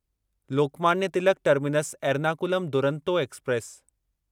Lokmanya Tilak terminus Ernakulam Duronto express